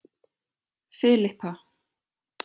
Filippa